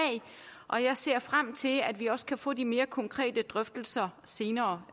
og jeg ser frem til at vi også kan få de mere konkrete drøftelser senere